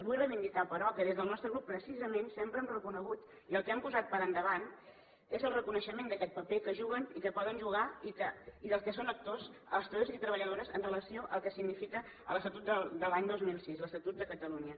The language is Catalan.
vull reivindicar però que des del nostre grup precisament sempre hem reconegut i el que hem posat per endavant és el reconeixement d’aquest paper que juguen i que poden jugar i del qual en són actors els treballadors i treballadores amb relació al que significa l’estatut de l’any dos mil sis l’estatut de catalunya